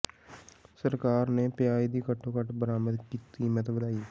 ਸਰਕਾਰ ਨੇ ਪਿਆਜ਼ ਦੀ ਘੱਟੋ ਘੱਟ ਬਰਾਮਦ ਕੀਮਤ ਵਧਾਈ